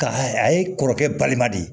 Ka hɛrɛ a ye kɔrɔkɛ balima de ye